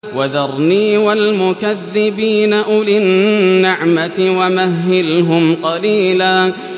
وَذَرْنِي وَالْمُكَذِّبِينَ أُولِي النَّعْمَةِ وَمَهِّلْهُمْ قَلِيلًا